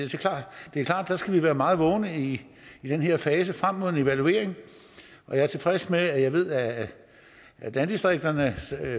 skal være meget vågne i den her fase frem mod en evaluering jeg er tilfreds med at jeg ved at landdistrikternes